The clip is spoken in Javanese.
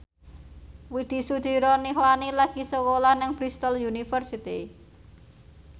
Widy Soediro Nichlany lagi sekolah nang Bristol university